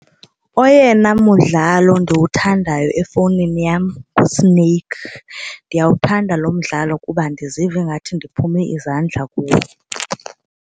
Oyena mdlalo ndiwuthandayo efowunini yam nguSnake. Ndiyawuthanda lo mdlalo kuba ndiziva ingathi ndiphume izandla kuwe.